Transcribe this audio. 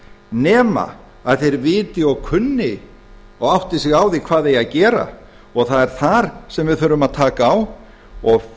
nema að þeir viti og kunni og átti sig á því hvað eigi að gera og það er þar sem við þurfum að taka á og